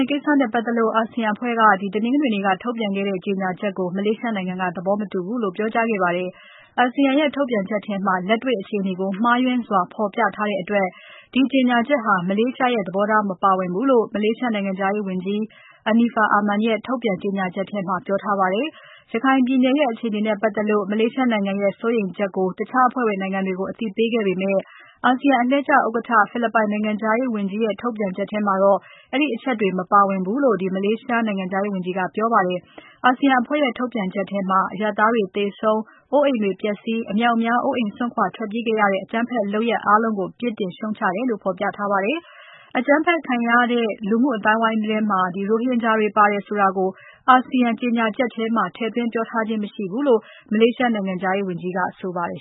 ယ်ကိစ္စနဲ့ပတ်သက်လို့ အာဆီယံအဖွဲ့က တနင်္ဂနွေနေ့က ထုတ်ပြန်ခဲ့တဲ့ ကြေညာချက်ကို မလေးရှားနိုင်ငံက သဘောမတူဘူးလို့ ပြောကြားခဲ့ပါတယ်။ အာဆီယံရဲ့ ထုတ်ပြန်ချက်ထဲမှာ လက်တေ့ွအခြေအနေကို မှားယွင်းစွာဖော်ပြထားတဲ့အတွက် ဒီကြေညာချက်ဟာ မလေးရှားရဲ့ သဘောထားမပါဝင်ဘူးလို့ မလေးရှားနိုင်ငံခြားရေးဝန်ကြီး Anifah Aman ရဲ့ ထုတ်ပြန်ကြေညာချက်ထဲမှာ ပြောထားပါတယ်။ ရခိုင်ပြည်နယ်ရဲ့ အခြေအနေနဲ့ပတ်သက်လို့ မလေးရှားနိုင်ငံရဲ့ စိုးရိမ်ချက်ကို တခြားအဖွဲ့ဝင်နိုင်ငံတွေကို အသိပေးခဲ့ပေမဲ့ အာဆီယံအလှည့်ကျဥက္ကဋ္ဌ ဖိလစ်ပိုင်နိုင်ငံခြားရေးဝန်ကြီး Alan Peter Cayetano ရဲ့ ထုတ်ပြန်ချက်ထဲမှာ အဲဒီအချက်တွေ မပါဝင်ဘူးလို့ မလေးရှားနိုင်ငံခြားရေးဝန်ကြီးက ပြောပါတယ်။ အာဆီယံအဖွဲ့ရဲ့ ထုတ်ပြန်ချက်ထဲမှာ အရပ်သားတွေသေဆုံး၊အိုးအိမ်တွေ ပျက်ဆီး၊အမြောက်အများ အိုးအိမ်စွန့်ခွာ ထွက်ပြေးခဲ့ရတဲ့ အကြမ်းဖက်လုပ်ရပ်အားလုံးကို ပြစ်တင်ရှုတ်ချတယ်လို့ ဖော်ပြထားပါတယ်။ အကြမ်းဖက်မှုခံရတဲ့ လူမှုအသိုင်းအဝိုင်းထဲမှာ ရိုဟင်ဂျာတွေပါတယ်ဆိုတာကို အာဆီယံကြေညာချက်ထဲမှာ ထည့်သွင်းပြောထားခြင်းမရှိဘူးလို့ မလေးရှားနိုင်ငံခြားရေးဝန်ကြီး Anifah Aman ကဆိုပါတယ်